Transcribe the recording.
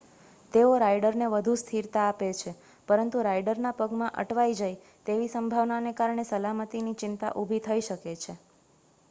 તેઓ રાઇડરને વધુ સ્થિરતા આપે છે પરંતુ રાઇડરના પગમાં અટવાઇ જાય તેવી સંભાવનાને કારણે સલામતીની ચિંતા ઊભી થઈ શકે છે